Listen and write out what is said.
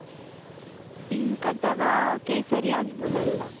Pink ಅಥವಾ ಕೇಸರಿ ಆಗ್ಬೋದಲ್ಲ.